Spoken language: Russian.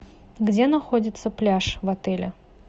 где находится пляж в отеле